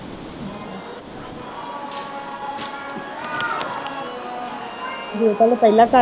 ਜੇ ਤੈਨੂੰ ਪਹਿਲਾ